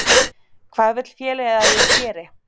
Hvað vill félagið að ég geri?